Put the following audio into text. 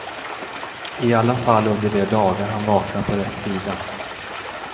I alla fall under de dagar han vaknar på rätt sida.